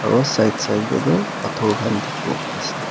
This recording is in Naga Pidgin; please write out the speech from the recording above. aro side Side teh tu pathor khan dikhibo pai se.